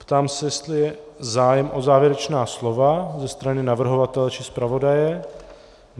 Ptám se, jestli je zájem o závěrečná slova ze strany navrhovatele, či zpravodaje.